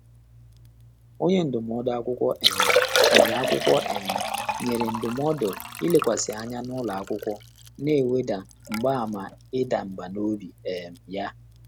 Ọ́nyé ndụ́mọ́dụ́ ákwụ́kwọ́ um nyèrè ákwụ́kwọ́ um nyèrè ndụ́mọ́dụ́ ìlékwàsị́ ányá n’ụ́lọ́ ákwụ́kwọ́, nà-èwédà mgbààmà ị́dà mbà n’óbí um yá.